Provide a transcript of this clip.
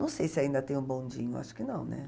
Não sei se ainda tem o bondinho, acho que não, né?